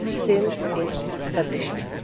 since its establishment.